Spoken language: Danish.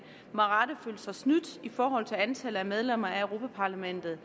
med rette føler sig snydt i forhold til antallet af medlemmer af europa parlamentet